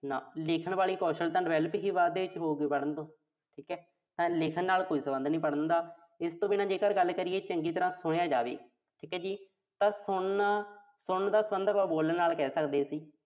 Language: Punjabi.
ਲਿਖਣ ਵਾਲਾ ਕੌਸ਼ਲ ਤਾਂ develop ਹੀ ਬਾਅਦ ਦੇ ਵਿੱਚ ਹੋਊ ਪੜ੍ਹਨ ਤੋਂ। ਠੀਕਾ। ਤਾਂ ਲਿਖਣ ਨਾਲ ਕੋਈ ਸਬੰਧ ਨੀਂ ਪੜ੍ਹਨ ਦਾ। ਇਸ ਤੋਂ ਬਿਨਾਂ ਜੇਕਰ ਆਪਾਂ ਗੱਲ ਕਰੀਏ, ਚੰਗੀ ਤਰ੍ਹਾਂ ਸੁਣਿਆ ਜਾਵੇ। ਠੀਕ ਆ ਜੀ। ਤਾਂ ਸੁਣਨ, ਸੁਣਨ ਦਾ ਸਬੰਧ ਆਪਾਂ ਬੋਲਣ ਨਾਲ ਕਹਿ ਸਕਦੇ ਸੀ।